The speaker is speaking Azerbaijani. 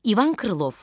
İvan Krılov.